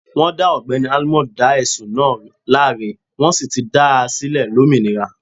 Wọn dá ogbẹ́ni almond dá ẹ̀sùn náà láre, wọ́n sì ti dá a sílẹ̀ lómìnira.